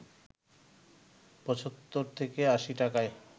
৭৫ থেকে ৮০ টাকায়